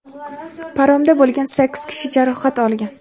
paromda bo‘lgan sakkiz kishi jarohat olgan.